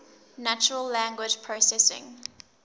natural language processing